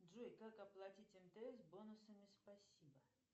джой как оплатить мтс бонусами спасибо